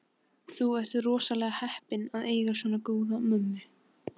Þú ert rosalega heppinn að eiga svona góða mömmu.